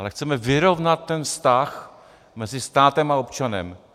Ale chceme vyrovnat ten vztah mezi státem a občanem.